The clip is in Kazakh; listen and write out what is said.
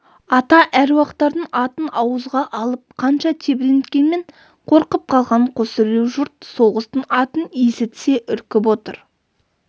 ата әруақтардың атын ауызға алып қанша тебіренткенмен қорқып қалған қосүрей жұрт соғыстың атын есітсе үркіп отыр